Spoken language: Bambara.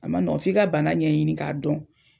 A ma nɔ f'i ka bana ɲɛɲini k'a dɔn.